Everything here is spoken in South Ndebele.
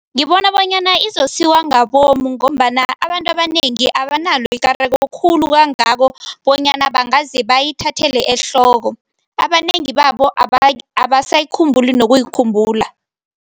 Ngibona bonyana izosiwa ngabomu ngombana abantu abanengi abanalo ikareko khulu kangako bonyana bangaze bayithathele ehloko, abanengi babo abasayikhumbuli nokuyikhumbula.